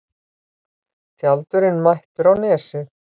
Tjaldurinn mættur á Nesið